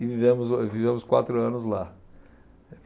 E vivemos o, vivemos quatro anos lá.